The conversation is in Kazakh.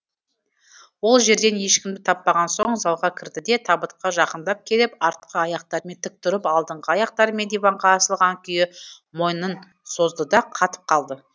ол жерден ешкімді таппаған соң залға кірді де табытқа жақындап келіп артқы аяқтарымен тік тұрып алдыңғы аяқтарымен диванға асылған күйі мойнын созды да қатып қалды